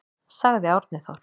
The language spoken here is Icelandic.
Sagði Árni Þór.